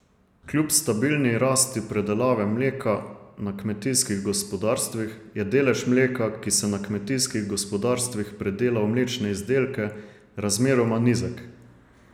Kljub stabilni rasti predelave mleka na kmetijskih gospodarstvih je delež mleka, ki se na kmetijskih gospodarstvih predela v mlečne izdelke, razmeroma nizek.